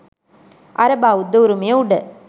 අර බෞද්ධ උරුමය උඩ